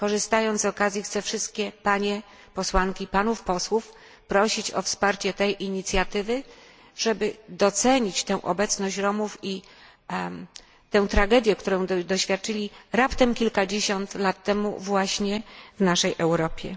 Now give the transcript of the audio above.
Korzystając z tej okazji, chciałabym wszystkie panie posłanki i panów posłów prosić o wsparcie tej inicjatywy, żeby docenić tę obecność Romów i tę tragedię, której doświadczyli zaledwie kilkadziesiąt lat temu właśnie tu w Europie.